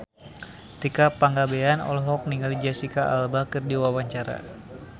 Tika Pangabean olohok ningali Jesicca Alba keur diwawancara